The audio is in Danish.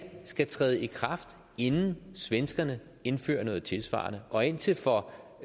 skal træde i kraft inden svenskerne indfører noget tilsvarende og indtil for